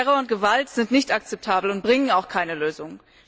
Terror und Gewalt sind nicht akzeptabel und bringen auch keine Lösung.